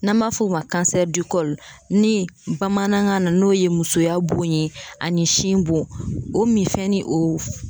N'an b'a f'o ma ni bamanankan na n'o ye musoya bon ye ani sin bon o minfɛn ni o